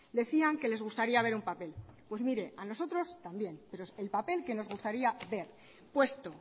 decían que les gustaría ver un papel a nosotros también pero el papel que nos gustaría ver puesto